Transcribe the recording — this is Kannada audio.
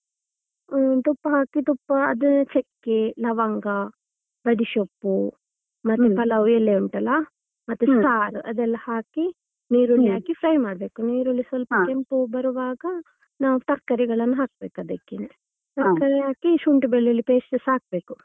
ಹ್ಮ್ ತುಪ್ಪ ಹಾಕಿ ತುಪ್ಪ ಅದೇ ಚೆಕ್ಕೆ, ಲವಂಗ, ಬಡಿ ಸೊಪ್ಪು ಮತ್ತೆ ಪಲಾವ್ ಎಲೆ ಉಂಟಲ್ಲ ಮತ್ತೆ ಸಾರ್ ಅದೆಲ್ಲಾ ಹಾಕಿ ನೀರುಳ್ಳಿ ಹಾಕಿ fry ಮಾಡ್ಬೇಕು ನಾವು ನೀರುಳ್ಳಿ ಸ್ವಲ್ಪ ಕೆಂಪು ಬರ್ವಾಗ ನಾವ್ ತರ್ಕಾರಿಗಳನ್ನು ಹಾಕ್ಬೇಕು ಅದಕ್ಕೆ ತರ್ಕಾರಿ ಹಾಕಿ ಶುಂಠಿ ಬೆಳ್ಳುಳ್ಳಿ paste ಸ ಹಾಕ್ಬೇಕು.